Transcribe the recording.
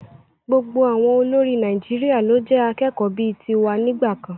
Gbogbo àwọn olórí Nàìjíríà ló jẹ́ akẹ́kọ̀ọ́ bíi ti wa nígbà kan.